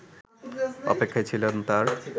অপেক্ষায় ছিলেন তার